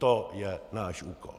To je náš úkol."